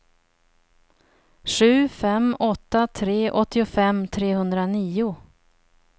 sju fem åtta tre åttiofem trehundranio